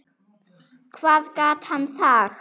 Hvað gat hann sagt?